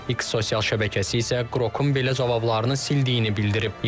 X sosial şəbəkəsi isə Qrokun belə cavablarını sildiyini bildirib.